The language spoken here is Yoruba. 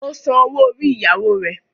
Ó san owó orí ìyàwó rẹ̀.